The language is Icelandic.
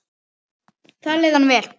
Þar leið honum vel.